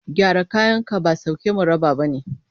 Gyara kayanka ba sauke mu raba ba ne.